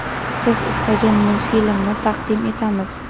siz istagan multfilmni taqdim etamiz.